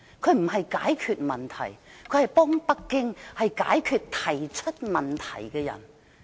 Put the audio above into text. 她不是解決問題，而是幫北京解決提出問題的人。